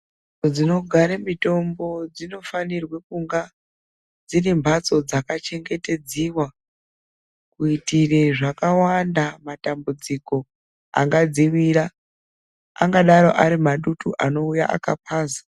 Nzvimbo dzinogare mitombo dzino fanirwe kunge dzirimhatso dzaka chengetedziwa, kuitire zvakawanda, matambudziko angadziwira. Angadaro ari madutu anouya akapaza.